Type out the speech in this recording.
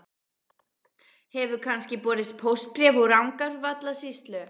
Hefur kannski borist póstbréf úr Rangárvallasýslu?